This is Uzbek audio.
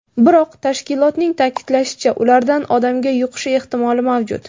Biroq, tashkilotning ta’kidlashicha, ulardan odamga yuqishi ehtimoli mavjud.